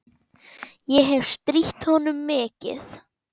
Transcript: Ég hefi strítt honum mikið.